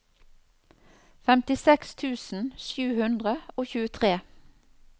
femtiseks tusen sju hundre og tjuetre